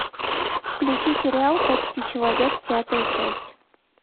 включи сериал почти человек пятая часть